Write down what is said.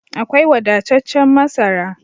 Akwai wadataccen masara